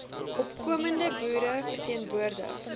opkomende boere verteenwoordig